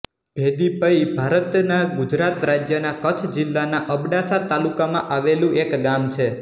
ભેદી પઈ ભારતના ગુજરાત રાજ્યના કચ્છ જિલ્લાના અબડાસા તાલુકામાં આવેલું એક ગામ છે